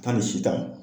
Taa ni si ta ye